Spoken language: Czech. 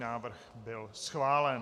Návrh byl schválen.